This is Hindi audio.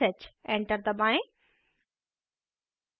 enter दबाएँ